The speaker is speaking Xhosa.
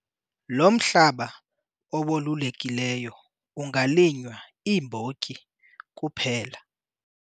Lo mhlaba owolulekileyo ungalinywa iimbotyi kuphela.